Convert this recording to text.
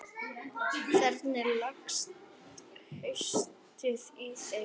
Hvernig leggst haustið í þig?